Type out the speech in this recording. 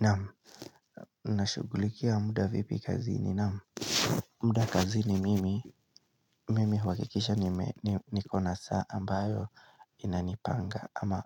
Naam, ninashughulikia muda vipi kazini naam, muda kazini mimi, mimi uhakikisha niko na saa ambayo inanipanga ama